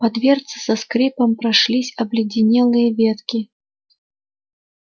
по дверце со скрипом прошлись обледенелые ветки